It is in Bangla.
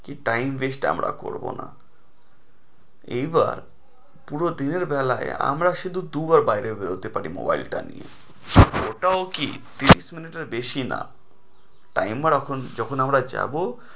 কি time waste আমরা করবো না, এইবার পুরো দিনের বেলায় আমরা শুধু দুবার বাইরে বেরোতে পারি nobile টা নিয়ে, ওটাও কি তিরিশ minute এর বেশি না, timer offence যখন আমরা যাবো,